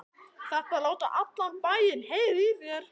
ÞARFTU AÐ LÁTA ALLAN BÆINN HEYRA Í ÞÉR!